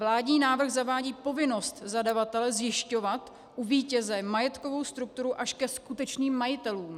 Vládní návrh zavádí povinnost zadavatele zjišťovat u vítěze majetkovou strukturu až ke skutečným majitelům.